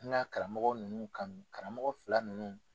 N karamɔgɔ nunnu kanu, karamɔgɔ fila nunnu.